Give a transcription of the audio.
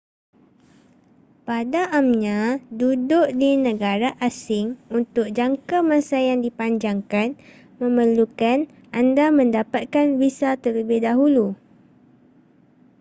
pada amnya duduk di negara asing untuk jangkamasa yang dipanjangkan memerlukan anda mendapatkan visa terlebih dahulu